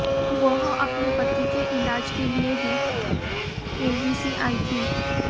वह अपने पति के इलाज के लिए ही केबीसी आईं थी